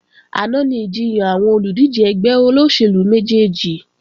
Àná ni ìjiyàn àwọn olùdíje ẹgbẹ́ olóṣèlú méjèjì